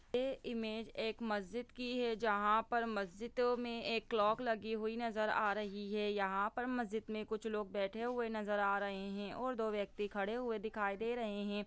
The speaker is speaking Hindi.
ए इमेज एक मस्जिद की है जहाँ पर मस्जिदों में एक क्लॉक लगी हुई नज़र आ रही है यहाँ पर मस्जिद में कुछ लोग बैठे हुए नज़र आ रहे हैं और दो व्यक्ति खड़े हुए दिखाई दे रहे हैं।